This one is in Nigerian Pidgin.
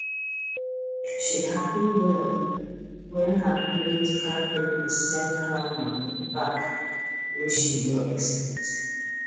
she happy well when her credit card people send her money back wey she no expect